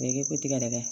I ko tigɛdɛgɛ